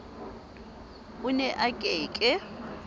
o ne o ke ke